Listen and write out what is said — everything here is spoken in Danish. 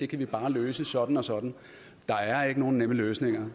kan vi bare løse sådan og sådan der er ikke nogen nemme løsninger